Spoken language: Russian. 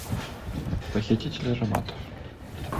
похититель ароматов